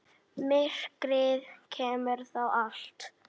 Myrkrið geymir það allt.